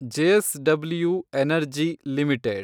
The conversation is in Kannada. JSW energy limited